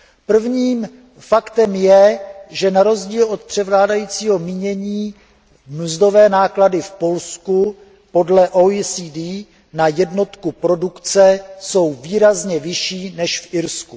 První faktem je, že na rozdíl od převládajícího jsou mínění mzdové náklady v Polsku podle OECD na jednotku produkce výrazně vyšší než v Irsku.